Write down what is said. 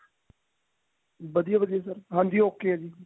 ਵਧੀਆ ਵਧੀਆ sir ਹਾਂਜੀ okay ਆ ਜੀ